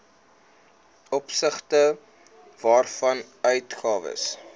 opsigte waarvan uitgawes